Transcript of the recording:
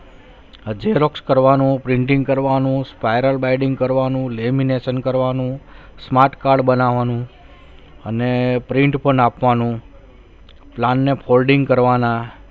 હા xerox કરવાનું, printing કરવાનું spiral biading કરવાનું લેમિનેશન કરવાનું smart card બનાવવાનું અને print પણ આપવાનું plan ને folding કરવાના